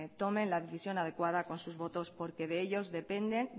tomen la decisión adecuada con sus votos porque de ellos dependen